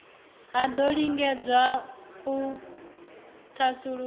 ha do lingedzwa u thasulula